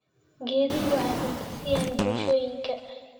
Geeduhu waxay cunto siiyaan bulshooyinka.